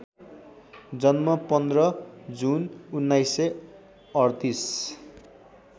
जन्म १५ जुन १९३८